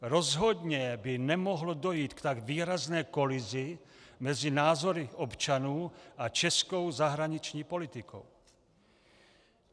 Rozhodně by nemohlo dojít k tak výrazné kolizi mezi názory občanů a českou zahraniční politikou.